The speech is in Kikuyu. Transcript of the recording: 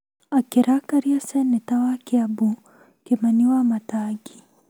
akĩrakaria Seneta wa Kĩambu Kĩmani Wamatangi.